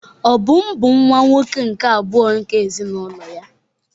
Obum bụ nwa-nwoke nke abụọ nke ezinụlọ ya.